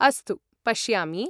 अस्तु, पश्यामि।